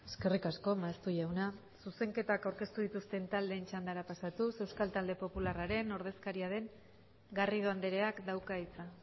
eskerrik asko maeztu jauna zuzenketak aurkeztu dituzten taldeen txandara pasatuz euskal talde popularraren ordezkaria den garrido andreak dauka hitza